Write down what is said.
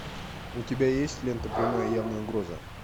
у тебя есть лента прямая явная угроза